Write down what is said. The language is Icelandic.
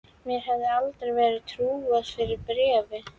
Mér hefði aldrei verið trúað fyrir bréfi.